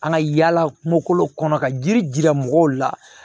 An ka yala kungo kɔnɔ ka jiri jira mɔgɔw la